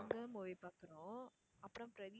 அங்க movie பாக்குறோம் அப்பறம் பிரதீப்